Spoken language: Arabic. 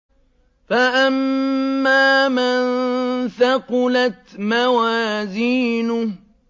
فَأَمَّا مَن ثَقُلَتْ مَوَازِينُهُ